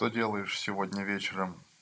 что делаешь сегодня вечером